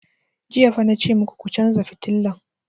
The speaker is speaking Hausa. Jiya fa na ce maku ku chanza fitilan!